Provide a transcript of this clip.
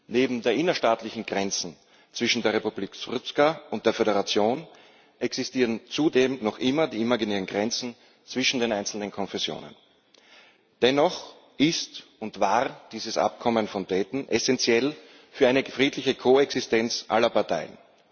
Neben den innerstaatlichen Grenzen zwischen der Republika Srpska und der Föderation existieren zudem noch immer die imaginären Grenzen zwischen den einzelnen Konfessionen. Dennoch ist und war dieses Abkommen von Dayton essenziell für eine friedliche Koexistenz aller Parteien.